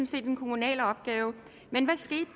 set en kommunal opgave men hvad skete